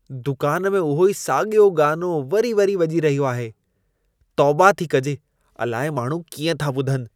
दुकान में उहो ई साॻियो गानो वरी वरी वॼी रहियो आहे। तौबा थी कजे, अलाए माण्हू कीअं था ॿुधनि।